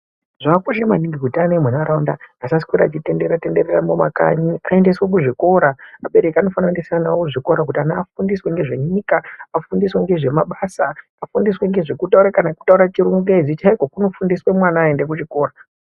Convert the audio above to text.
Zvakakosha maningi kuti ana emunharaunda asaswera achitenderera tenderera mumakanyi aendeswe kuzvikora. Abereki anofanira kuendesa vana vavo kuzvikora kuti ana afundiswe ngezvenyika, afundiswe ngezvemabasa, afundiswe ngezvekutaura kana kutaura chingezi chaiko kunofundiswa mwana aenda kuchikora.